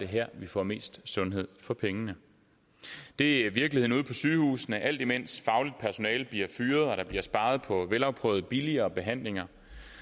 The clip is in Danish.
her vi får mest sundhed for pengene det er virkeligheden ude på sygehusene alt imens fagligt personale bliver fyret og der bliver sparet på velafprøvede og billigere behandlinger